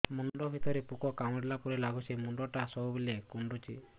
ମୁଣ୍ଡ ଭିତରେ ପୁକ କାମୁଡ଼ିଲା ପରି ଲାଗୁଛି ମୁଣ୍ଡ ଟା ସବୁବେଳେ କୁଣ୍ଡୁଚି